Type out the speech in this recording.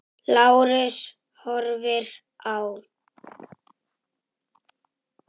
Lárus horfir á.